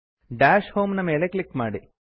dash home ನ ಮೇಲೆ click ಮಾಡಿ